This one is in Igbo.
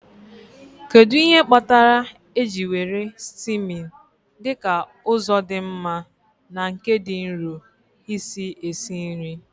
Kedu ihe kpatara eji were steaming dị ka ụzọ dị mma na nke dị nro isi esi nri?